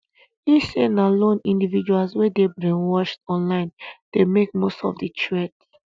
e say na lone individuals wey dey brainwashed online dey make most of di threat